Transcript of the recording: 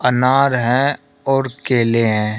अनार है और केले हैं।